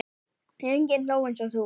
Enginn hló eins og þú.